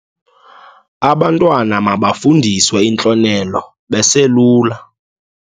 Abantwana mabafundiswe intlonelo beselula.